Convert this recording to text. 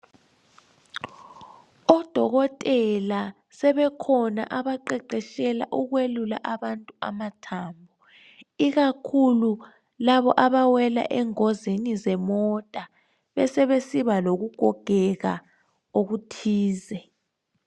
Odokotela sebekhona abaqeqetshela ukwelula abantu amathambo ikakhulu labo abawela engozini zemota besebesiba lokugogeka okuthize.